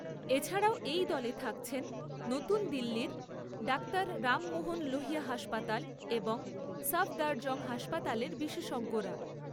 এছাড়াও এই দলে থাকছেন নতুন দিল্লির ডাক্তার রাম মোহন লোহিয়া হাসপাতাল ও সাফদারজং হাসপাতালের বিশেষজ্ঞরা।